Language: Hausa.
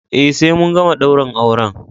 Eh sai mun gama daurin auren.